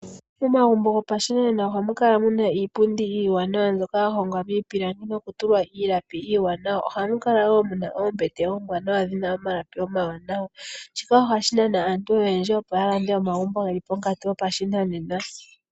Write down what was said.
Momagumbo gopashinanena ohamu kala muna iipundi iiwanawa mbyoka yahongwa miipilangi noku tulwa iilapi iiwanawa. Ohamu kala woo muna oombete oombwaanawa dhina omalapi omawanawa, shika ohashi nana aantu oyendji opo ya lande omagumbo geli ponkatu yashinanena.